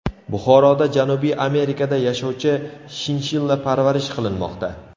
Buxoroda Janubiy Amerikada yashovchi shinshilla parvarish qilinmoqda.